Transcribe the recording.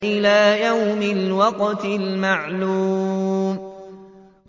إِلَىٰ يَوْمِ الْوَقْتِ الْمَعْلُومِ